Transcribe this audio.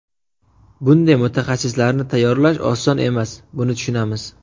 Bunday mutaxassislarni tayyorlash oson emas, buni tushunamiz.